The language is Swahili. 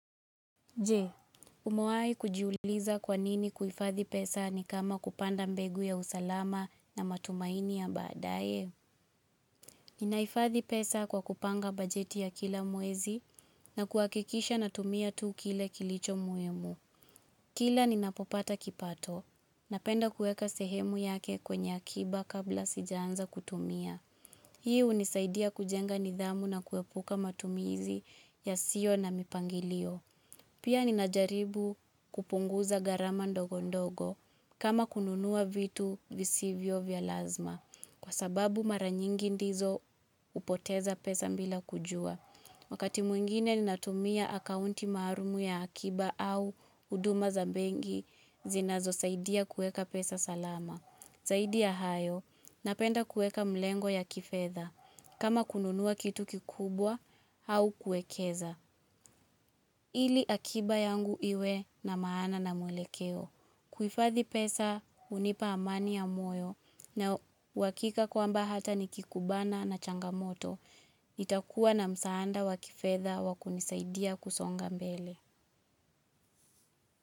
Je, umawahi kujiuliza kwa nini kuhifadhi pesa ni kama kupanda mbegu ya usalama na matumaini ya baadaye. Ninahifadhi pesa kwa kupanga bajeti ya kila mwezi na kuhakikisha natumia tuu kile kilicho muhimu Kila ninapopata kipato. Napenda kuweka sehemu yake kwenye akiba kabla sijaanza kutumia. Hii hunisaidia kujenga nidhamu na kuepuka matumizi yasiyo na mipangilio. Pia ninajaribu kupunguza gharama ndogo ndogo kama kununua vitu visivyo vya lazima kwa sababu mara nyingi ndizo hupoteza pesa bila kujua. Wakati mwingine ninatumia akaunti maalum ya akiba au huduma za benki zinazosaidia kueka pesa salama. Zaidi ya hayo napenda kueka mlengo ya kifedha kama kununua kitu kikubwa au kuekeza. Ili akiba yangu iwe na maana na mwelekeo. Kuhifadhi pesa hunipa amani ya moyo na uhakika kwamba hata nikikubana na changamoto. Nitakuwa na msaada wa kifedha wa kunisaidia kusonga mbele.